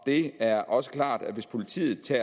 det er også klart at hvis politiet til